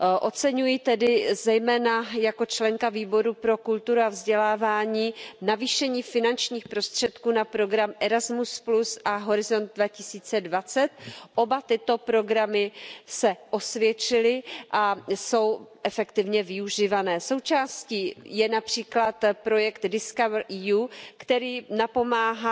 Oceňuji tedy, zejména jako členka Výboru pro kulturu a vzdělávání, navýšení finančních prostředků na program Erasmus a Horizont 2020. Oba tyto programy se osvědčily a jsou efektivně využívané. Součástí je např. projekt DiscoverEU, který napomáhá